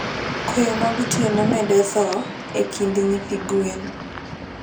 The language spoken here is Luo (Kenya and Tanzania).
Koyo magotieno medo thoo e kind nyithi gwen